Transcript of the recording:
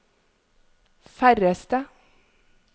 færreste